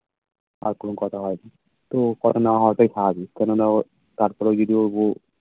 আর কোনো কথা হয়নি. তো কথা না হওয়াটাই স্বাভাবিক কেননা ওর পার তলায় video হবো